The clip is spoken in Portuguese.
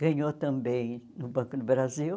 Ganhou também no Banco do Brasil.